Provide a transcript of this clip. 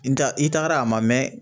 In ta i taagara a ma mɛn.